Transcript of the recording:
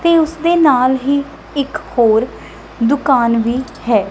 ਤੇ ਉਸਦੇ ਨਾਲ ਹੀ ਇੱਕ ਹੋਰ ਦੁਕਾਨ ਵੀ ਹੈ।